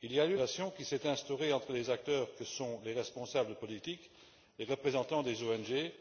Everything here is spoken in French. Il y a lieu de saluer la coopération qui s'est instaurée entre les acteurs que sont les responsables politiques, les représentants des ONG,